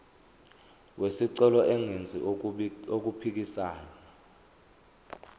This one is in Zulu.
wesicelo engenzi okuphikisana